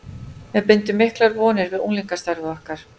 Við bindum miklar vonir við unglingastarfið okkar.